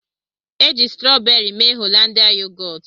Eji strọọberị mee Holandịa yogọọt.